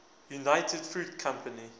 united fruit company